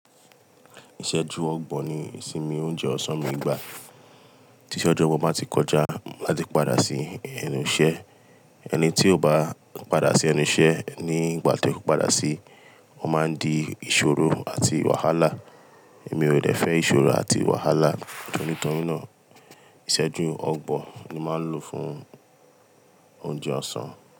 Ìsẹ̀jú ọgbọ̀n ni ìsinmi oúnjẹ ọ̀sán mi gbà. Tí iṣejú ọgbọ̀n ba ti kọjá ma de padà sí ẹnu iṣẹ́. Ẹni tí ò bá padà sí ẹnu iṣẹ́ ní ìgbà tí ó padà sí, wọ́n máa ń di ìṣòro àti wàhálà. Èmi ò dẹ̀ fẹ́ ìṣòro àti wàhálà, nítorí náà ìsẹ́jú ọgbọ̀n ni màá ń lò fún oúnjẹ ọ̀sán.